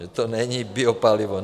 Že to není biopalivo.